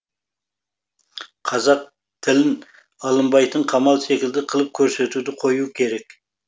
қазақ тілін алынбайтын қамал секілді қылып көсетуді қою керек